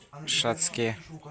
шацке